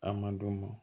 A madu